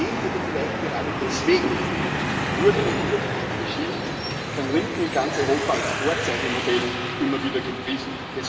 Trotzdem oder vielleicht gerade deswegen wurde und wird dieses Regime von Linken in ganz Europa als Vorzeigemodell immer wieder gepriesen.